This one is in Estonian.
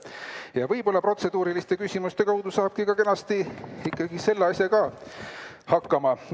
Ja võib-olla protseduuriliste küsimuste abil saabki kenasti selle asjaga hakkama.